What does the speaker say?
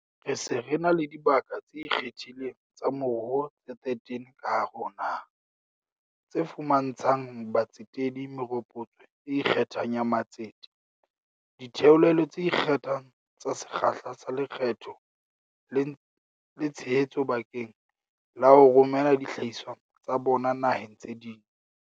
Re se re na le dibaka tse ikgethileng tsa moruo tse 13 ka hare ho naha, tse fuma ntshang batsetedi meropotso e ikgethang ya matsete, ditheolelo tse ikgethang tsa sekgahla sa lekgetho le tshe hetso bakeng la ho romela dihlahiswa tsa bona naheng tse ding.